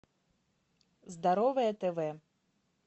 здоровое тв